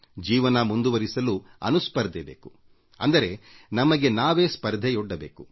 ಜೀವನ ಮುಂದುವರಿಸಲು ಅನುಸ್ಪರ್ಧೆಇರಬೇಕು ಅಂದರೆ ನಮಗೆ ನಾವೇ ಸ್ಪರ್ಧೆಯೊಡ್ಡಿಕೊಳ್ಳಬೇಕು